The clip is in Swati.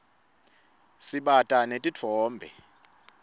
sibata netitfombe